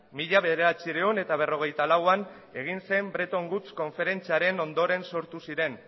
mila bederatziehun eta berrogeita lauan egin zen bretton woods konferentziaren ondoren sortu ziren